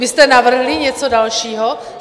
Vy jste navrhli něco dalšího?